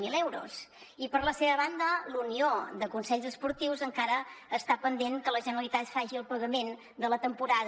zero d’euros i per la seva banda la unió de consells esportius encara està pendent que la generalitat faci el pagament de la temporada